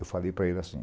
Eu falei para ele assim.